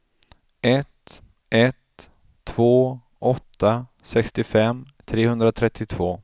ett ett två åtta sextiofem trehundratrettiotvå